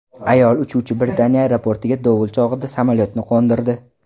Ayol uchuvchi Britaniya aeroportiga dovul chog‘ida samolyotni qo‘ndirdi .